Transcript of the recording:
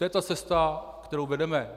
To je ta cesta, kterou vedeme.